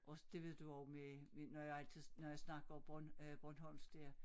Også det ved du også med når jeg altid når jeg snakker bornholmsk dér